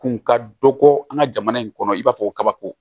Kun ka dɔ kɔ an ka jamana in kɔnɔ i b'a fɔ ko kabako